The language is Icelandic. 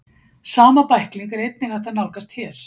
sama bækling er einnig hægt að nálgast hér